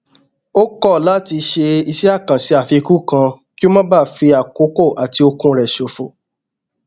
ó kọ láti ṣe iṣé àkànṣe àfikún kan kí ó má bàa fi àkókò àti okun rẹ ṣòfò